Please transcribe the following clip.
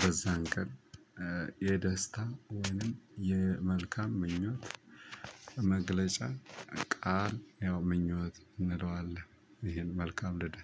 በዛን ቀን የደስታ ወይንም የመልካም ምኞት መግለጫ ቃል ያው ምኞት እንለዋለን። ይሄን መልካም ልደት